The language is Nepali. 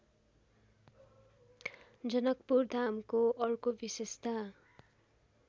जनकपुरधामको अर्को विशेषता